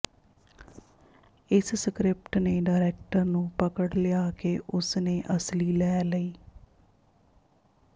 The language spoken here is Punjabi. ਇਸ ਸਕਰਿਪਟ ਨੇ ਡਾਇਰੈਕਟਰ ਨੂੰ ਪਕੜ ਲਿਆ ਕਿ ਉਸਨੇ ਅਸਲੀ ਲੈ ਲਈ